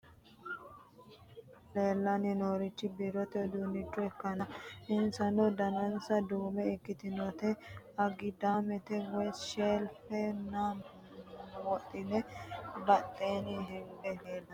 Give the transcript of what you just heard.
Kuni misilete aana leellanni noorichi biirote uduunnicho ikkanna, insano danase duume ikkitinoti agidaame woyi shelfe na wombareno badheenni higge leeltanno.